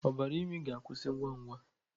Ọbara imi ga-akwụsị ngwa ngwa.